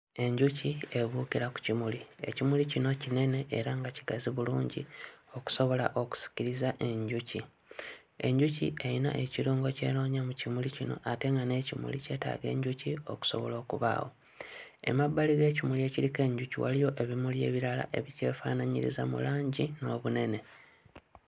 Enjuki ebuukira ku kimuli. Ekimuli kino kinene era nga kigazi bulungi okusobola okusikiriza enjuki. Enjuki eyina ekirungo ky'enoonya mu kimuli kino ate nga n'ekimuli kyetaaga enjuki okusobola okubaawo. Emabbali g'ekimuli ekiriko enjuki waliyo ebimuli ebirala ebikyefaanaanyiriza mu langi n'obunene.